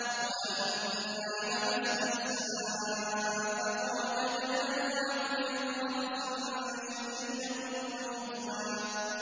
وَأَنَّا لَمَسْنَا السَّمَاءَ فَوَجَدْنَاهَا مُلِئَتْ حَرَسًا شَدِيدًا وَشُهُبًا